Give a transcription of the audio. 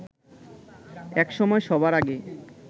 একসময় সবার আগে